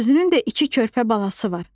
Özünün də iki körpə balası var.